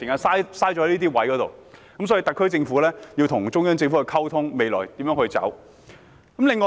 所以，特區政府應與中央政府就未來應如何走下去進行溝通。